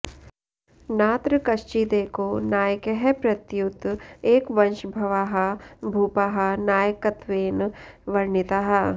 नात्र कश्चिदेको नायकः प्रत्युत एकवंशभवाः भूपाः नायकत्वेन वर्णिताः